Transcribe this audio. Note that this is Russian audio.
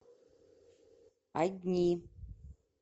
одни